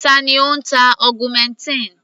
Ta ni ó ń ta augmentin?